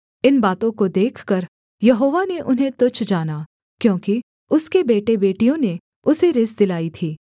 इन बातों को देखकर यहोवा ने उन्हें तुच्छ जाना क्योंकि उसके बेटेबेटियों ने उसे रिस दिलाई थी